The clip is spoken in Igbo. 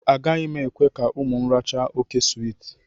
Agaghị m ekwe ka ụmụ m rachaa óké swiiti